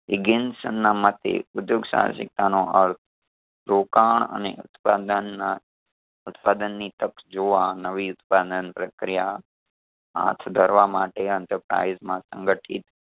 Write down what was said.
એગઈન્સન ના મતે ઉધ્યોગ સાહસિકતાનો અર્થ રોકાણ અને ઉત્પાદનના ઉત્પાદનની તક જોવા નવી ઉત્પાદન પ્રક્રિયા હાથ ધરવા માટે enterprise માં સંગઠિત